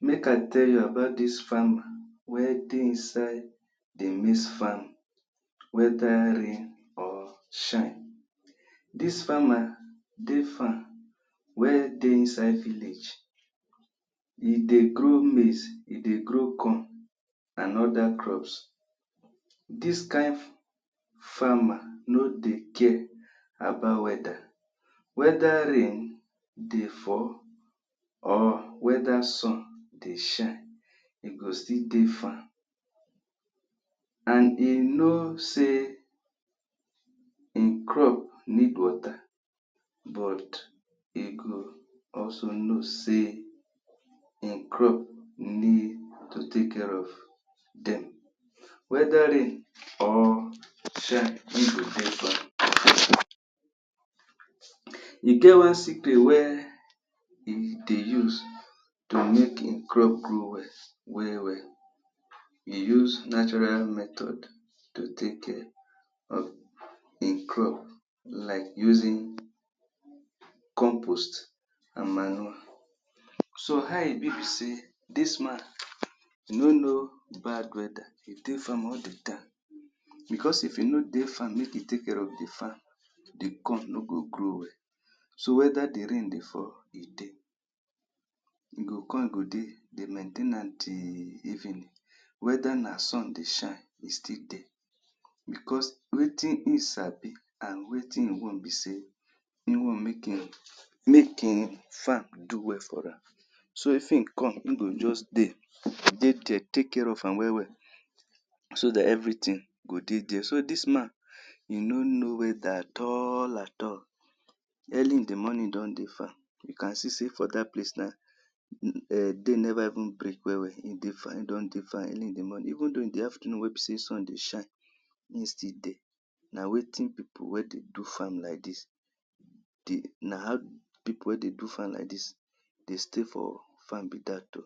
Make I tell you about dis farmer wey dey inside di mix farming weda rain or shine. Dis farmer dey farm wey dey inside village e dey grow maize e dey grow corn and oda crops. Dis kain farmer no dey care about weather weda rain dey fall or weda suhn dey shine im go still dey farm. and im know say im crop need water but e go also know say im crop need to take care of dem weda rain or shine im go dey farm e geh one secret wey e dey use to make im crop grow wel wel wel e use natural method to take care of im crop like using compost and manure. So, how e bi be say dis man e no know bad weather dey farm all di time bicos if im no dey farm make e take care of di farm di corn no go grow well so weda di rain dey fall e dey im go come go dey dey maintain am till evenee weda na sun dey shine e still dey. bicos wetin im sabi and wetin im wan be say im no wan make im make im farm do well for am so if im come im go just dey dey dia take care of am wel wel so dat evri tin go dey there, so dis man, im no no weather at all at all early in di morning im don dey farm you can see say for dat place na dey never even break wel wel di farmer don dey farm early in di morning, even for afernoon wey be say sun dey shine. im still dey na wetin pipo wey dey do farm like di, how pipo wey dey do farm like dis dey stay for farm be dat o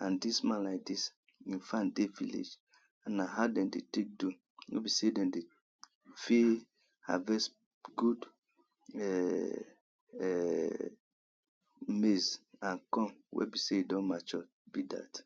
and dis man like dis hin farm dey village na how dem dey take do no be sey dem dey fit harvest good um maize and corn wey be say e don mature be dat